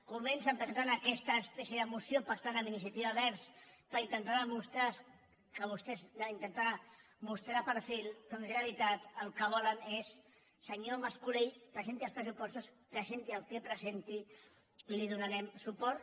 comencen presentant aquesta espècie de moció pactant amb iniciativa verds per intentar mos·trar perfil però en realitat el que volen és senyor mas·colell presenti els pressupostos presenti el que presenti li donarem suport